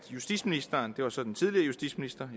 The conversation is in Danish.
justitsministeren det var så den tidligere justitsminister